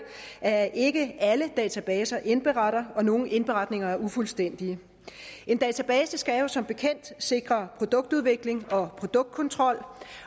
at ikke alle databaser indberetter og at nogle indberetninger er ufuldstændige en database skal jo som bekendt sikre produktudvikling og produktkontrol